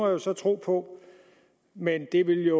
jo så tro på men det ville